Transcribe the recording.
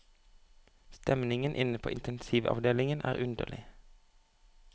Stemningen inne på intensivavdelingen er underlig.